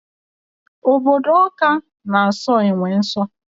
Obodo Ọka na aso enwe nso